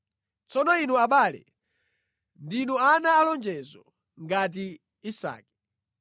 Tsono inu abale, ndinu ana alonjezo ngati Isake.